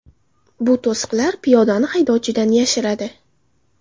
Bu to‘siqlar piyodani haydovchidan yashiradi.